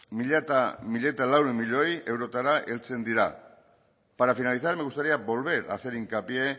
mila laurehun milioi eurotara heltzen dira para finalizar me gustaría volver a hacer hincapié